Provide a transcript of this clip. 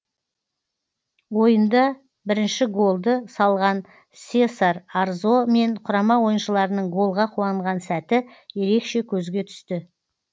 ойында бірінші голды салған сесар арзо мен құрама ойыншыларының голға қуанған сәті ерекше көзге түсті